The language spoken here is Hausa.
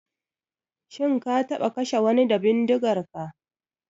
Shin ka taɓa kashe wani da bindigarka?